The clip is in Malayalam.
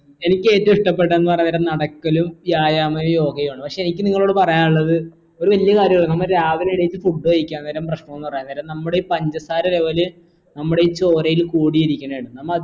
എനിക്കേറ്റവും ഇഷ്ട്ടപെട്ടന്നു പറഞ്ഞന്നേരം നടക്കലും വ്യായാമോ യോഗയാണ് പക്ഷെ എനിക്ക് നിങ്ങളോട് പറയാനുള്ളത് ഒരു വല്യ കാര്യണ് നമ്മ രാവിലെണീ ച് food കഴിക്കാ അന്നേരം ഭക്ഷണോന്ന് പറയാന്നേരം നമ്മടെ ഈ പഞ്ചസാര level നമ്മുടെയി ചോരയിൽ കൂടിയിരിക്കണെന്ന് നമ്മ